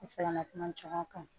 U fɛɛrɛ na kuma caman kan